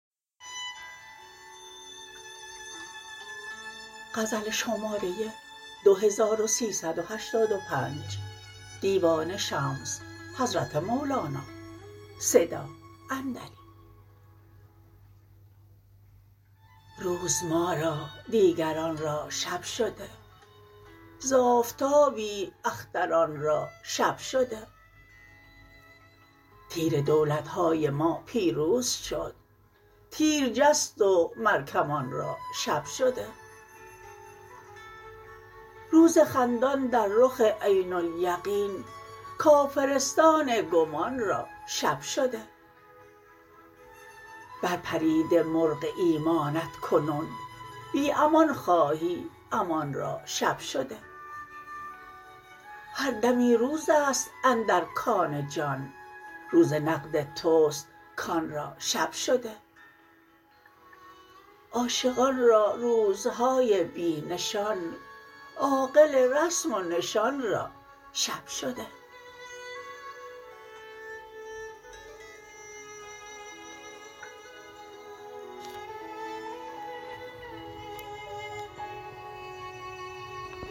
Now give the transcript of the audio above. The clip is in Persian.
روز ما را دیگران را شب شده ز آفتابی اختران را شب شده تیر دولت های ما پیروز شد تیر جست و مر کمان را شب شده روز خندان در رخ عین الیقین کافرستان گمان را شب شده برپریده مرغ ایمانت کنون بی امان خواهی امان را شب شده هر دمی روز است اندر کان جان روز نقد توست کان را شب شده عاشقان را روزهای بی نشان عاقل رسم و نشان را شب شده